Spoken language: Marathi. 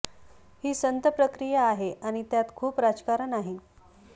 ही संथ प्रक्रिया आहे आणि त्यात खूप राजकारण आहे